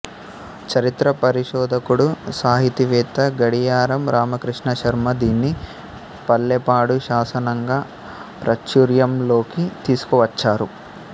చరిత్ర పరిశోధకుడు సాహితీవేత్త గడియారం రామకృష్ణ శర్మ దీన్ని పల్లెపాడు శాసనంగా ప్రాచుర్యంలోకి తీసుకువచ్చారు